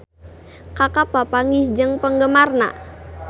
Kaka papanggih jeung penggemarna